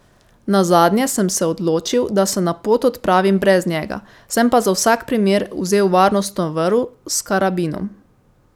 Nazadnje sem se odločil, da se na pot odpravim brez njega, sem pa za vsak primer vzel varnostno vrv s karabinom.